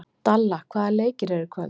Dalla, hvaða leikir eru í kvöld?